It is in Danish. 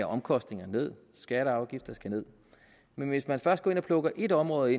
omkostningerne ned skatter og afgifter skal ned men hvis man først går ind og plukker et område